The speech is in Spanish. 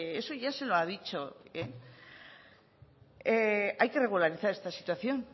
eso ya se lo ha dicho hay que regularizar esta situación